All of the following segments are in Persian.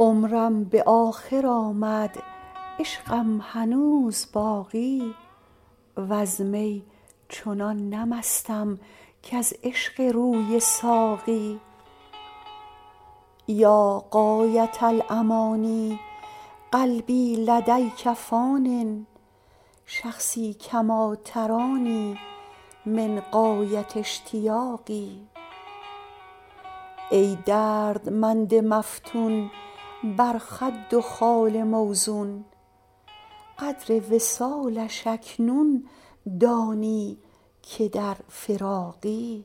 عمرم به آخر آمد عشقم هنوز باقی وز می چنان نه مستم کز عشق روی ساقی یا غایة الأمانی قلبی لدیک فانی شخصی کما ترانی من غایة اشتیاقی ای دردمند مفتون بر خد و خال موزون قدر وصالش اکنون دانی که در فراقی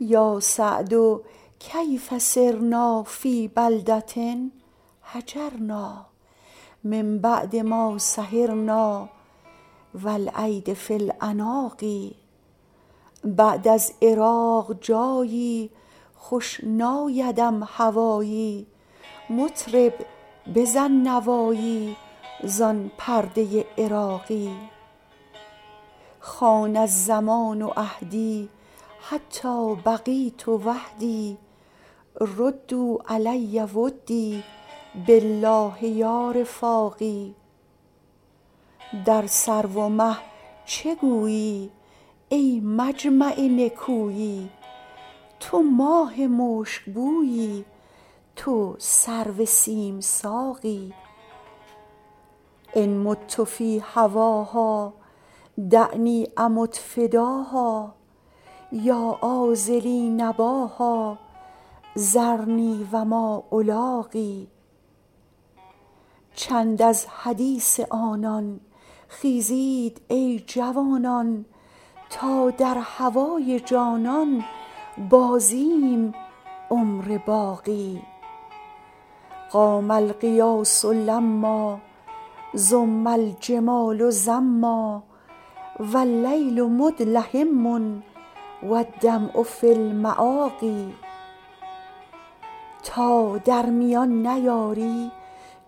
یا سعد کیف صرنا فی بلدة هجرنا من بعد ما سهرنا و الایدی فی العناق بعد از عراق جایی خوش نایدم هوایی مطرب بزن نوایی زان پرده عراقی خان الزمان عهدی حتی بقیت وحدی ردوا علی ودی بالله یا رفاقی در سرو و مه چه گویی ای مجمع نکویی تو ماه مشکبویی تو سرو سیم ساقی ان مت فی هواها دعنی امت فداها یا عاذلی نباها ذرنی و ما الاقی چند از حدیث آنان خیزید ای جوانان تا در هوای جانان بازیم عمر باقی قام الغیاث لما زم الجمال زما و اللیل مدلهما و الدمع فی المآقی تا در میان نیاری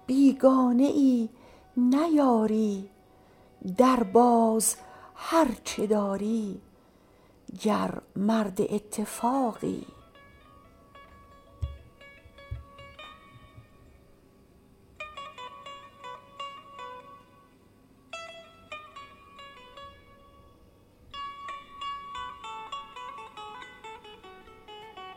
بیگانه ای نه یاری درباز هر چه داری گر مرد اتفاقی